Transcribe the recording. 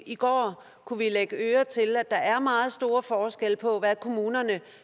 i går kunne vi lægge øre til at der er meget store forskelle på hvad kommunerne